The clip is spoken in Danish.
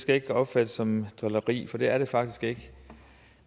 ikke opfattes som drilleri for det er det faktisk ikke